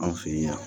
An fɛ yen